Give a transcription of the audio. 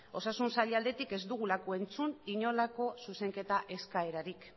osasun sailaren aldetik ez dugulako entzun inolako zuzenketa eskaerarik